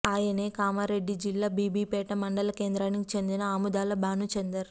ఆయనే కామారెడ్డి జిల్లా బీబీపేట మండల కేంద్రానికి చెందిన ఆముదాల భానుచందర్